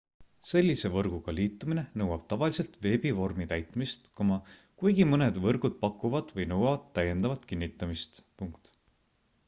sellise võrguga liitumine nõuab tavaliselt veebivormi täitmist kuigi mõned võrgud pakuvad või nõuavad täiendavat kinnitamist